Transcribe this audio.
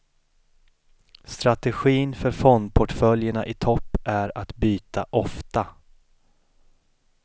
Strategin för fondportföljerna i topp är att byta ofta.